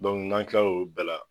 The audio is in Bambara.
n'an kila la olu bɛɛ la